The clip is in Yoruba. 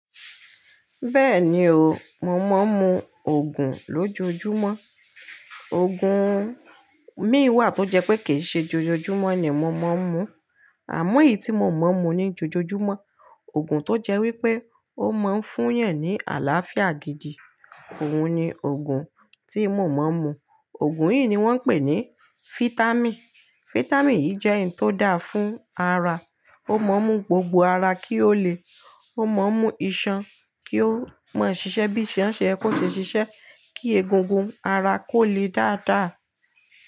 Bẹ́ẹ̀ni o, mò mọ́n mú Ògùn lójoojúmọ́. Ògùn míî wà tó jẹ́ pé kì í ṣe jo-jojúmọ́ ni mò mọ́n mú. Àmọ́ èyí tí mo mọ̀ mú ní jojoomọ́, Ògùn tó jẹ́ wípé ó máa ń fún yẹn ní àlàáfíà gidi, òun ni Ògùn tí mò mọ́n mú. Ògùn yìí ni wón ń pè ní Fitami. Fitami yìí jẹ́ òun tó dáa fún ara, ó mọ mú gbogbo ara kí ó le, ó mọ mú Iṣan kí ó má sì ṣe bí iṣan ṣe yẹ kó ṣe ṣiṣẹ́, kí egungun ara kó le dáa dáa.